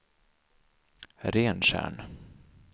Rentjärn